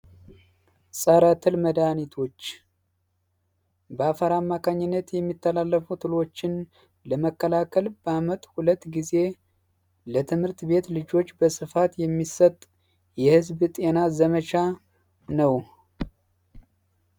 ጸረ ትል መድሀኒቶች በአፈር አማካኝነት የሚተላለፉት ትሎችን ለመከላከል በአመት ሁለት ጊዜ ለትምህርት ቤት ልጆች በስፋት የሚሰጥ የህዝብ ጤና ዘመቻ ነዉ።